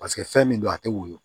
Paseke fɛn min don a tɛ woyo